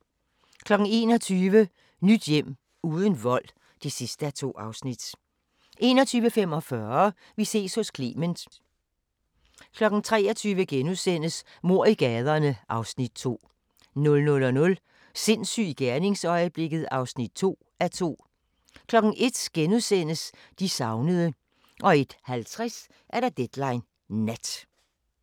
21:00: Nyt hjem – uden vold (2:2) 21:45: Vi ses hos Clement 23:00: Mord i gaderne (Afs. 2)* 00:00: Sindssyg i gerningsøjeblikket (2:2) 01:00: De savnede * 01:50: Deadline Nat